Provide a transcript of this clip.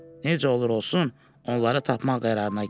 Necə olur olsun, onları tapmaq qərarına gəldi.